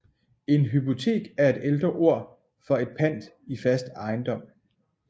En hypotek er et ældre ord for et pant i fast ejendom